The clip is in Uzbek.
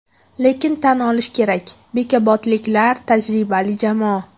Lekin, tan olish kerak bekobodliklar tajribali jamoa.